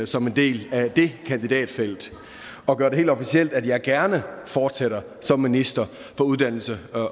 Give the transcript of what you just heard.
som en del af det kandidatfelt og gøre det helt officielt at jeg gerne fortsætter som minister for uddannelse